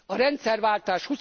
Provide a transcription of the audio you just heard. A rendszerváltás